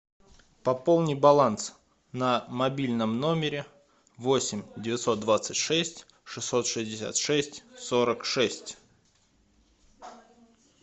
пополни баланс на мобильном номере восемь девятьсот двадцать шесть шестьсот шестьдесят шесть сорок шесть